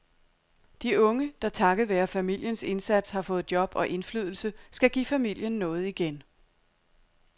De unge, der takket være familiens indsats har fået job og indflydelse, skal give familien noget igen.